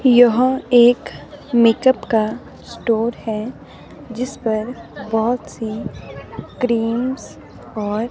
यह एक मेकअप का स्टोर है जिस पर बहुत सी क्रीम्स और--